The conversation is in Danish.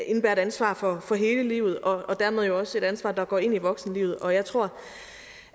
et ansvar for hele livet og dermed jo også et ansvar der går ind i voksenlivet og jeg tror